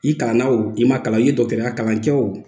I kalan na o i ma kalan i ye dɔgɔtɔya kalan kɛ o